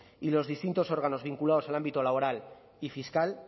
y los distintos órganos vinculados al ámbito laboral y fiscal